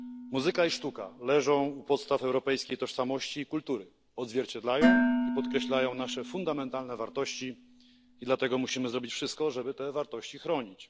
Muzyka i sztuka leżą u podstaw europejskiej tożsamości i kultury, odzwierciedlają i podkreślają nasze fundamentalne wartości i dlatego musimy zrobić wszystko, żeby te wartości chronić.